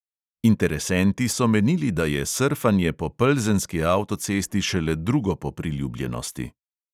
Interesenti so menili, da je srfanje po plzenski avtocesti šele drugo po priljubljenosti.